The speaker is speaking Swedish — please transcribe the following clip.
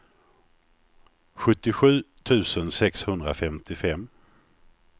sjuttiosju tusen sexhundrafemtiofem